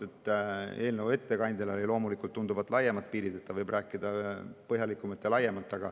Eelnõu ettekandjal on loomulikult tunduvalt laiemad piirid, tema võib rääkida põhjalikumalt ja laiemalt.